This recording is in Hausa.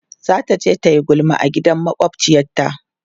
zataje tayi gulma a gidan makwafciyar ta